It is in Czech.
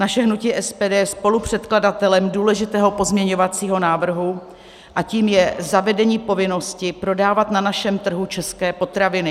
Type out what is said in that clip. Naše hnutí SPD je spolupředkladatelem důležitého pozměňovacího návrhu a tím je zavedení povinnosti prodávat na našem trhu české potraviny.